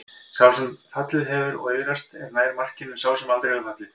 Sá sem fallið hefur og iðrast er nær markinu en sá sem aldrei hefur fallið.